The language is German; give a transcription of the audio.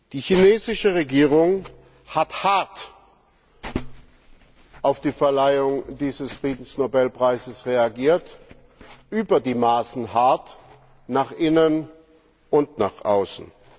Die chinesische Regierung hat hart auf die Verleihung dieses Friedensnobelpreises reagiert, über die Maßen hart, nach innen und nach außen.